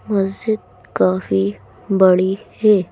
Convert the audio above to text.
मस्जिद काफी बड़ी है।